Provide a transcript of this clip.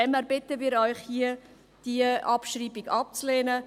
Daher bitten wir Sie, die Abschreibung abzulehnen.